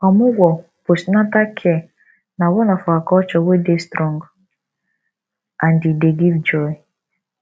omugwo- postnatal care na one of our culture wey dey strong and e dey give joy